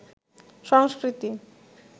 সংস্কৃতি